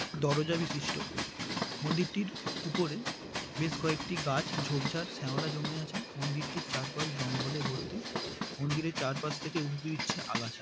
দরোজা বিশিষ্ঠ মন্দিরটির উপরে বেশ কয়েকটি গাছ ঝোপঝাড় শ্যাওলা জমে আছে মন্দিরটির চারপাশ জঙ্গলে ভর্তি মন্দিরের চারপাশ থেকে উঁকি দিচ্ছে আগাছা।